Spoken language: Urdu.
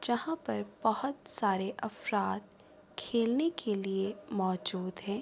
جہاں پر بھوت سارے افراد کھیلنے کے لئے موزود ہے۔